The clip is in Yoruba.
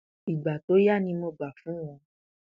ìgbà tó yá ni mo gbà fún wọn